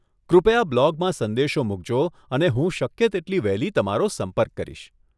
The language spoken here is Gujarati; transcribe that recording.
કૃપયા બ્લોગમાં સંદેશો મુકજો અને હું શક્ય તેટલી વહેલી તમારો સંપર્ક કરીશ.